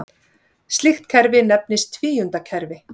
slíkt kerfi nefnist tvíundakerfi